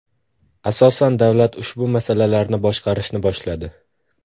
Asosan davlat ushbu masalalarni boshqarishni boshladi.